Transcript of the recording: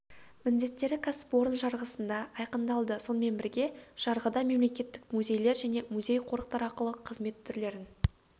міндеттері кәсіпорын жарғысында айқындалды сонымен бірге жарғыда мемлекеттік музейлер және музей-қорықтар ақылы қызмет түрлерін